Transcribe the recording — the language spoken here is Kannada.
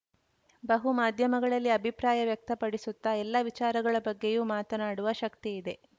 ಬಹುಮಾಧ್ಯಮಗಳಲ್ಲಿ ಅಭಿಪ್ರಾಯ ವ್ಯಕ್ತಪಡಿಸುತ್ತ ಎಲ್ಲ ವಿಚಾರಗಳ ಬಗ್ಗೆಯೂ ಮಾತನಾಡುವ ಶಕ್ತಿಯಿದೆ